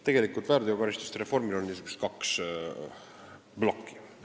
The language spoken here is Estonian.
Tegelikult on väärteokaristuste reformil kaks plokki.